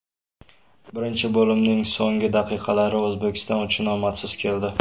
Birinchi bo‘limning so‘nggi daqiqalari O‘zbekiston uchun omadsiz keldi.